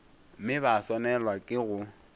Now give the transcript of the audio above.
mme ba swanelwa ke go